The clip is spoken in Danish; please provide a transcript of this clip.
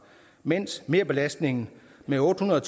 mens merbelastningen med otte hundrede